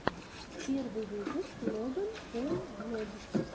первый выпуск логан пол влогс